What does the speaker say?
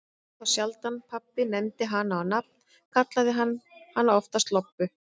En þá sjaldan pabbi nefndi hana á nafn, kallaði hann hana oftast Lobbu.